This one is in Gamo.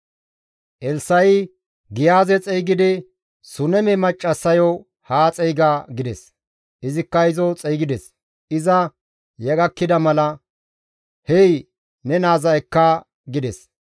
Elssa7i Giyaaze xeygidi, «Suneme maccassayo haa xeyga» gides; izikka izo xeygides; iza ya gakkida mala, «Hey ne naaza ekka» gides